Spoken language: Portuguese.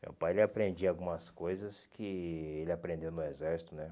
Meu pai ele aprendia algumas coisas que ele aprendeu no exército, né?